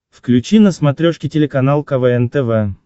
включи на смотрешке телеканал квн тв